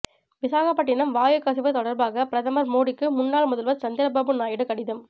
விசாகப்பட்டினம் வாயு கசிவு தொடர்பாக பிரதமர் மோடிக்கு முன்னாள் முதல்வர் சந்திரபாபு நாயுடு கடிதம்